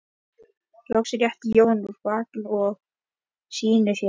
Loks rétti Jón úr bakinu og snýtti sér.